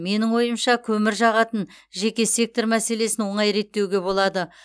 менің ойымша көмір жағатын жеке сектор мәселесін оңай реттеуге болады